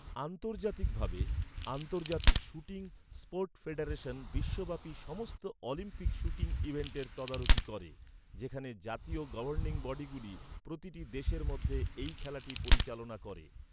আন্তর্জাতিকভাবে, আন্তর্জাতিক shooting sport federation বিশ্বব্যাপী সমস্ত অলিম্পিক শ্যুটিং ইভেন্টের তদারকি করে, যেখানে জাতীয় গভর্নিং বডিগুলি প্রতিটি দেশের মধ্যে এই খেলাটি পরিচালনা করে।